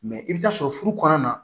Mɛ i bɛ taa sɔrɔ furu kɔnɔna na